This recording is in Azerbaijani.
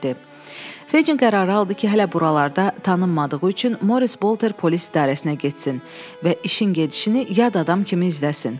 Fecin qərarı aldı ki, hələ buralarda tanınmadığı üçün Moris Bolter polis idarəsinə getsin və işin gedişini yad adam kimi izləsin.